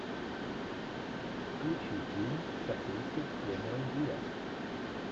включи фильм с актрисой кэмерон диас